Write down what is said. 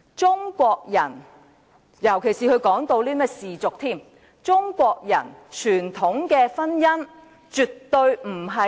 中國人傳統的婚姻——特別是他提到氏族——絕非